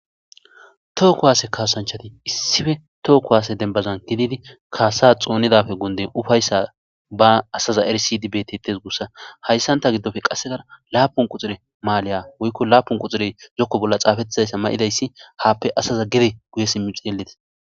Tookko haase kaasanchati issife tookko haase dembazan kididi kaasa xoonidafe gunde ufayssa ba asaza arsidibetetes guussa hayssanta giddofe qassekara laapun quxire maaliya woykko laapun quxire zokko bolla xaafettizayssa ma'idayssi haappe asaza gede guye simmixi yeletes